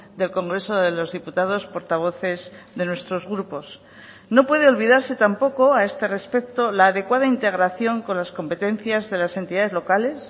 del congreso de los diputados portavoces de nuestros grupos no puede olvidarse tampoco a este respecto la adecuada integración con las competencias de las entidades locales